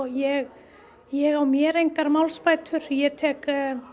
ég ég á mér engar málsbætur ég tek